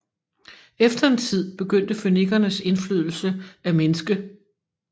Efter en tid begyndte fønikernes indflydelse at mindske